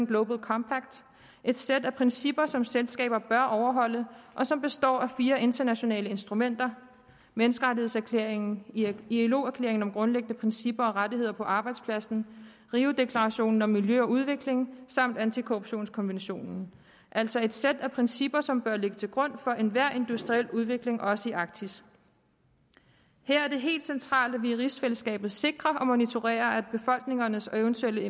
global compact et sæt af principper som selskaber bør overholde og som består af fire internationale instrumenter menneskerettighedserklæringen ilo erklæringen om grundlæggende principper og rettigheder på arbejdspladsen rio deklarationen om miljø og udvikling samt antikorruptionskonventionen altså et sæt af principper som bør ligge til grund for enhver industriel udvikling også i arktis her er det helt centralt at vi i rigsfællesskabet sikrer og monitorerer at befolkningernes og eventuelle